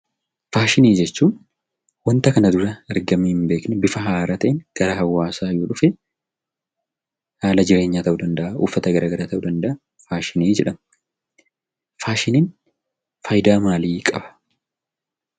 Faashinii jechuun; wanta kana duraa argamee hn beekne bifa haaraatin gara hawaasa yoo dhufe haala jireenyaa ta'u danda'aa, uffaata garagaraa ta'u danda'aa, Faashinii jedhama. faashinin faayidaa maali qaba?